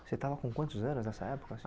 Você estava com quantos anos nessa época?